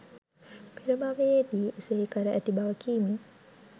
පෙර භවයේදී එසේ කර ඇති බව කිමින්